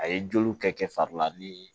A ye joliw kɛ kɛ fari la ni